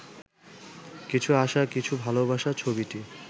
কিছু আশা কিছু ভালোবাসা ছবিটি